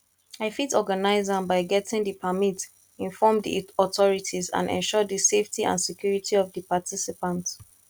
i fit organize am by getting di permit inform di authorities and ensure di safety and security of di participants